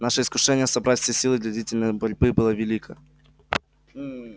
наше искушение собрать все силы для длительной борьбы было велико